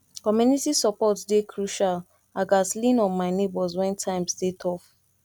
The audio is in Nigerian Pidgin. community support dey crucial i gats lean on my neighbors when times dey tough